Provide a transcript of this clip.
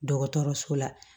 Dɔgɔtɔrɔso la